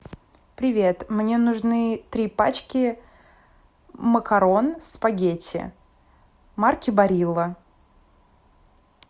привет мне нужны три пачки макарон спагетти марки барилла